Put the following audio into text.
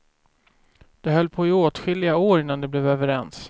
De höll på i åtskilliga år innan de blev överens.